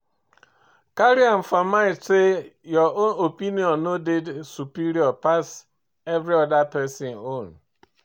Carry am for mind sey your own opinion no dey superior pass every oda person own